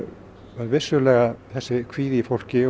var vissulega þessi kvíði í fólki